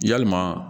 Yalima